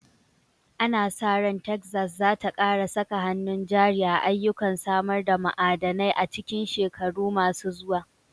Ana sa ran Texas za ta ƙara saka hannun jari a ayyukan samar da ma'adanai a cikin shekaru masu zuwa.